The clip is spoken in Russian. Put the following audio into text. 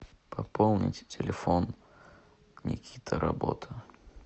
пополнить телефон никита работа